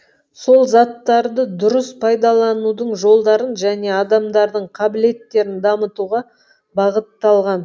сол заттарды дұрыс пайдаланудың жолдарын және адамдардың қабілеттерін дамытуға бағытталған